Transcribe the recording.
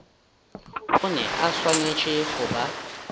ona a swanetše go ba